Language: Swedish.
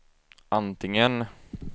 antingen